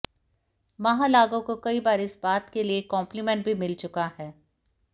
माहलाघा को कई बार इस बात के लिए कॉम्प्लीमेंट भी मिल चुका है